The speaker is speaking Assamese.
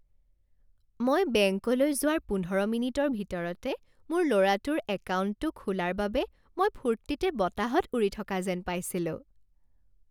মই বেংকলৈ যোৱাৰ পোন্ধৰ মিনিটৰ ভিতৰতে মোৰ ল'ৰাটোৰ একাউণ্টটো খোলাৰ বাবে মই ফূৰ্তিতে বতাহত উৰি থকা যেন পাইছিলোঁ।